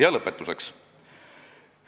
Ja lõpetuseks.